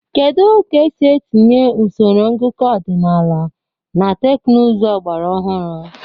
Kedu ka esi etinye usoro ngụkọ ọdịnala na teknụzụ ọgbara ọhụrụ?